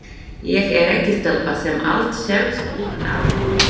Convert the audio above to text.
Ég er ekki stelpa sem allt sést utan á.